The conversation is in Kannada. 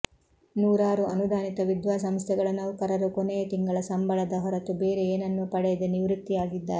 ನೂರಾರು ಅನುದಾನಿತ ವಿದ್ಯಾಸಂಸ್ಥೆಗಳ ನೌಕರರು ಕೊನೆಯ ತಿಂಗಳ ಸಂಬಳದ ಹೊರತು ಬೇರೆ ಏನನ್ನೂ ಪಡೆಯದೆ ನಿವೃತ್ತಿಯಾಗಿದ್ದಾರೆ